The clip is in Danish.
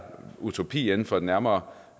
utopi inden for en nærmere